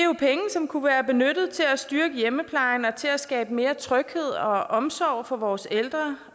som kunne være benyttet til at styrke hjemmeplejen og til at skabe mere tryghed og omsorg for vores ældre